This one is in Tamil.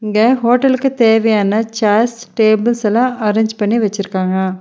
இங்க ஹோட்டல்க்கு தேவையான சேர்ஸ் டேபிள்ஸ்லா அரேஞ்ச் பண்ணி வச்சிருக்காங்க.